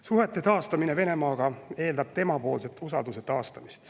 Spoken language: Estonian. Suhete taastamine Venemaaga eeldab temapoolset usalduse taastamist.